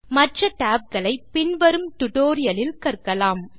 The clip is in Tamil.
மற்ற tab களை பின் வரும் டியூட்டோரியல் களில் காணலாம்